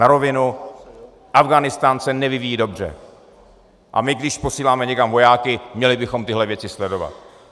Na rovinu, Afghánistán se nevyvíjí dobře, a my když posíláme někam vojáky, měli bychom tyhle věci sledovat.